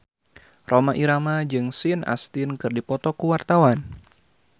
Rhoma Irama jeung Sean Astin keur dipoto ku wartawan